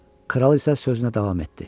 Kral isə sözünə davam etdi.